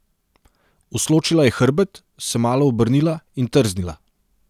Usločila je hrbet, se malo obrnila in trznila.